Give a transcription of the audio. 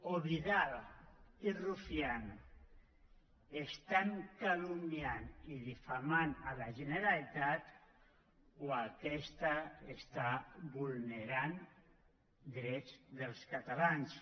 o vidal i rufián calumnien i difamen la generalitat o aquesta vulnera drets dels catalans